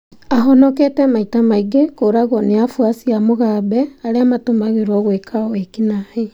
ahonekete maita maingĩ kũragwo ni afuasi ma Mugambe arĩa matumagĩrwo gwĩka naĩ